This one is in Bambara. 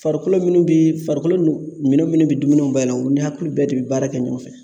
Farikolo minnu bi farikolo nu minɛn minnu bi dumuniw bayɛlɛma u ni hakili bɛɛ de bi baara kɛ ɲɔgɔn fɛ